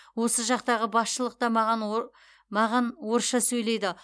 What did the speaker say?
осы жақтағы басшылық та маған маған орысша сөйлейді